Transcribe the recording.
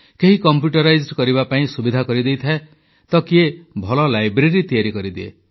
କେହି କମ୍ପ୍ୟୁଟର ସଂଯୋଗ କରିବା ପାଇଁ ସୁବିଧା କରିଦେଇଥାଏ ତ କିଏ ଭଲ ଲାଇବ୍ରେରୀ ତିଆରି କରିଦିଏ